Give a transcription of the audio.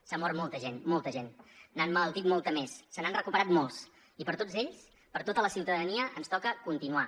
s’ha mort molta gent molta gent n’ha emmalaltit molta més se n’han recuperat molts i per tots ells per tota la ciutadania ens toca continuar